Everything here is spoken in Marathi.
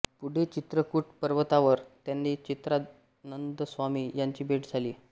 पुढे चित्रकूट पर्वतावर त्यांनी चित्रानंदस्वामी यांची भेट झाली